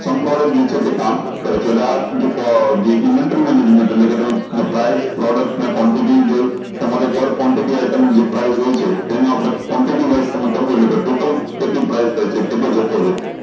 sum product જે છે તે કામ કરે છે એટલે આ જે invention management કે પેલું price જે તમારે product જે quantity હોય છે તેનું આપળે quantity wise તમે કારવ્યું લેં તો item કેટલી price થાય છે કેટલો જત્થો હોય છે